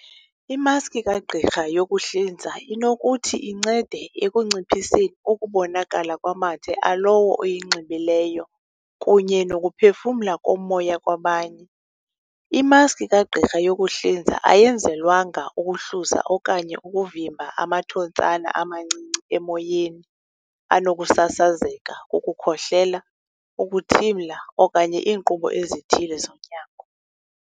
Imaski kagqirha yokuhlinza inokuthi incede ekunciphiseni ukubonakala kwamathe alowo uyinxibileyo kunye nokuphefumla komoya kwabanye. Imaski kagqirha yokuhlinza ayenzelwanga ukuhluza okanye ukuvimba amathontsana amancinci emoyeni anokusasazeka kukukhohlela, ukuthimla, okanye iinkqubo ezithile zonyango.